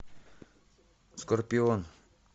скорпион